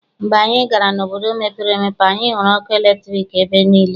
Mgbe anyị gara n'obodo mepere emepe, anyị hụrụ ọkụ latriki ebe niile.